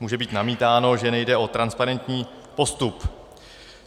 Může být namítáno, že nejde o transparentní postup.